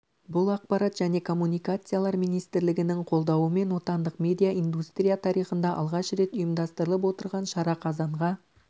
бұл ақпарат және коммуникациялар министрлігінің қолдауымен отандық медиа индустрия тарихында алғаш рет ұйымдастырылып отырған шара қазанға